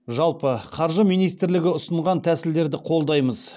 жалпы қаржы министрлігі ұсынған тәсілдерді қолдаймыз